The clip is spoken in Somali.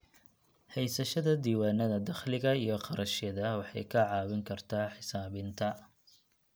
Haysashada diiwaannada dakhliga iyo kharashyada waxay kaa caawin kartaa xisaabinta.